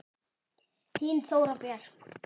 Þín Þóra Björk.